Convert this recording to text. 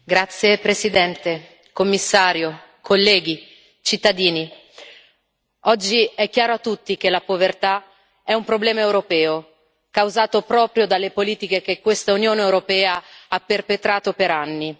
Signor Presidente, signor Commissario, onorevoli colleghi, cittadini, oggi è chiaro a tutti che la povertà è un problema europeo, causato proprio dalle politiche che questa Unione europea ha perpetrato per anni.